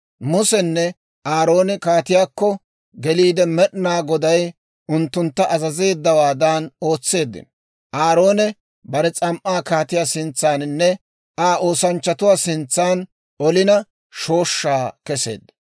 Musenne Aaroone kaatiyaakko geliide Med'inaa Goday unttuntta azazeeddawaadan ootseeddino; Aaroone bare s'am"aa kaatiyaa sintsaaninne Aa oosanchchatuwaa sintsan olina shooshshaa kesseedda.